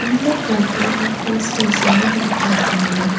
இந்த போட்டோ ஒரு ஹில்ஸ் ஸ்டேஷன்ல எடுத்துருக்காங்க.